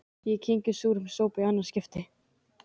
Ég kyngi súrum sopa í annað skipti.